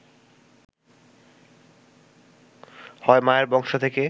হয় মায়ের বংশ থেকে